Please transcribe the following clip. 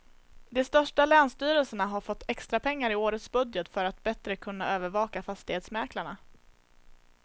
De största länsstyrelserna har fått extrapengar i årets budget för att bättre kunna övervaka fastighetsmäklarna.